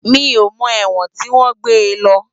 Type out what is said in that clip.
Mi ó mò èwòn tiwòn gbé lò